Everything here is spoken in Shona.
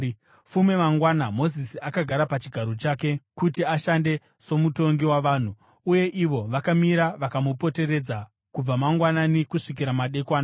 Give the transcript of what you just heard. Fume mangwana, Mozisi akagara pachigaro chake kuti ashande somutongi wavanhu, uye ivo vakamira vakamupoteredza kubva mangwanani kusvikira madekwana.